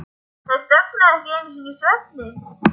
Þær þögnuðu ekki einu sinni í svefni.